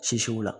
Sisiw la